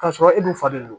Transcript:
K'a sɔrɔ e dun fa de don